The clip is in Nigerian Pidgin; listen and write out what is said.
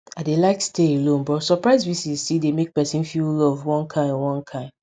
i dey like stay alone but surprise visits still dey make pesin feel loved one kain one kain